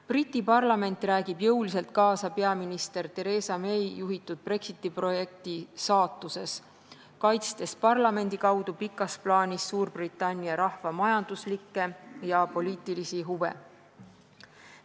Briti parlament räägib jõuliselt kaasa peaminister Theresa May juhitud Brexiti projekti saatuses, kaitstes parlamendi kaudu pikas plaanis Suurbritannia rahva majanduslikke ja poliitilisi huve.